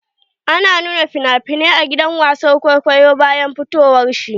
Ana nuna finafinai a gidan wasan kwaikwayo bayan fitowar shi.